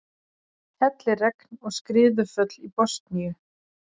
Helliregn og skriðuföll í Bosníu